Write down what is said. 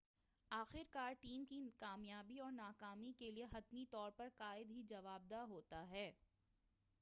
آخرکار ٹیم کی کامیابی اور ناکامی کیلئے حتمی طور پر قائد ہی جواب دہ ہوتا ہے